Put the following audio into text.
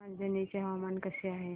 रांझणी चे हवामान कसे आहे